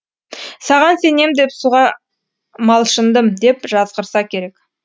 саған сенем деп суға малшындым деп жазғырса керек